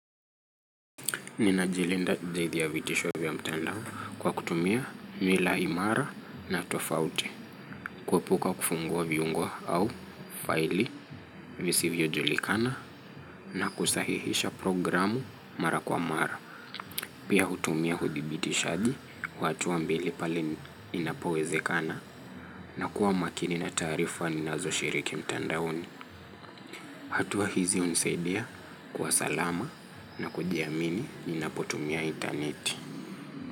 Ninajilinda dhidi ya vitisho vya mtandao kwa kutumia nywila imara na tofauti. Kuepuka kufungua viungo au faili visivyojulikana na kusahihisha programu mara kwa mara. Pia hutumia hudibitishaji, wa hatua mbili pali inapowezekana na kuwa makini na taarifa ninazoshiriki mtandaoni. Hatua hizi hunisaidia kuwa salama na kujiamini inapotumia intaneti.